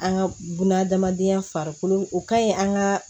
An ka buna hadamadenya farikolo o kaɲi an ka